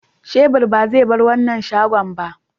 shebur ba zai barin wannan shago ba.